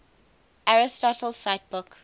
aristotle cite book